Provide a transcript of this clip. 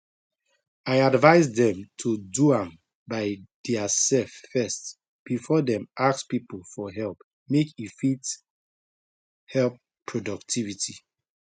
i advice dem to do am by theirself first before dem ask people for help make e fit keep productivity